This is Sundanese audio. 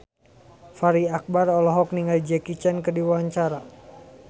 Fachri Albar olohok ningali Jackie Chan keur diwawancara